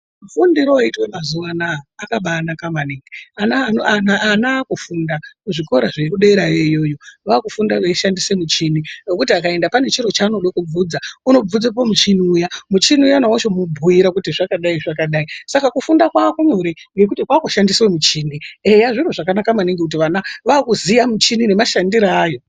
Fundiro yoitwe mazuva anaya, akabanaka maningi, ana vaakufunda kuzvikora zvekudera iyoyoyo, vaakufunda beyishandise michini yekuti akaenda panechiro chaanodekubvunza ,unobvunze pamuchini uya ,muchini uya wochimubhuyira kuti zvakadai ,zvakadai. Saka kufunda kwakunyore ngekuti kwakushandiswa michini ,eyaa! zviro zvakanaka maningi kuti vana vaakuziwa michini nemashandiro ayo.